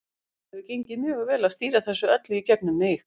Það hefur gengið mjög vel að stýra þessu öllu í gegnum mig.